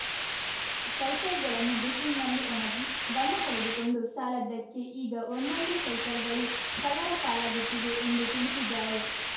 ಸೈಕಲ್‌ಗಳನ್ನು ಬಿಸಿಲಿನಲ್ಲಿ ಒಣಗಿ ಬಣ್ಣ ಕಳೆದುಕೊಂಡು ಸಾಲದ್ದಕ್ಕೆ ಈಗ ಒಂದೊಂದೇ ಸೈಕಲ್‌ಗಳು ಕಳ್ಳರ ಪಾಲಾಗುತ್ತಿವೆ ಎಂದು ತಿಳಿಸಿದ್ದಾರೆ